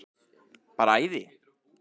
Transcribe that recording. Bara æði.